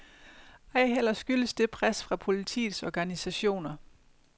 Ej heller skyldes det pres fra politiets organisationer.